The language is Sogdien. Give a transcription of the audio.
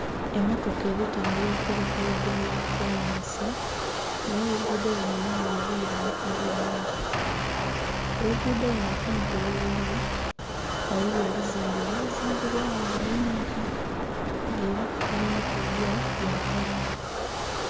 Emmotoka eri tambulira ku luguudo lwa kolansi nga era oluguudo luno lunhirivu luboneka bulungi. Oluguudo luno kumpi gheluli ghaligho ebizimbe ebya zimbibwagho nga bingi nga era kubimu kubyo bya kalina.